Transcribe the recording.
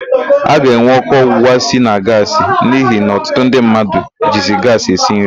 A ga-enwe ọkụ ọgbụgba si na gaasị n'ihi na ọtụtụ ndị mmadụ jizi gaasị esi nri.